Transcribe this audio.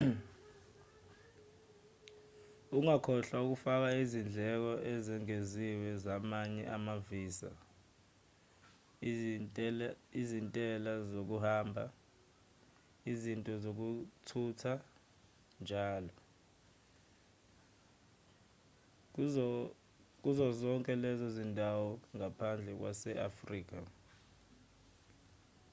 ungakhohlwa ukufaka izindleko ezengeziwe zamanye ama-visa izintela zokuhamba izinto zokuthutha njll kuzo zonke lezo zindawo ngaphandle kwase-afrika